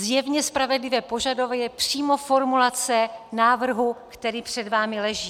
Zjevně spravedlivé požadovat je přímo formulace návrhu, který před vámi leží.